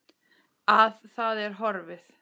Að það er horfið!